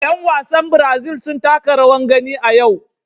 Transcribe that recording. Yan wasan Brazil sun taka rawar gani a yau.